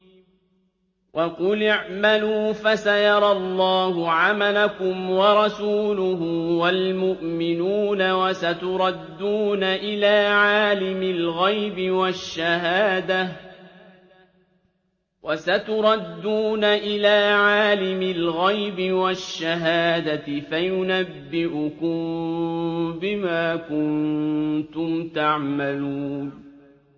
وَقُلِ اعْمَلُوا فَسَيَرَى اللَّهُ عَمَلَكُمْ وَرَسُولُهُ وَالْمُؤْمِنُونَ ۖ وَسَتُرَدُّونَ إِلَىٰ عَالِمِ الْغَيْبِ وَالشَّهَادَةِ فَيُنَبِّئُكُم بِمَا كُنتُمْ تَعْمَلُونَ